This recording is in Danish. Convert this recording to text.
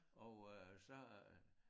Og øh så øh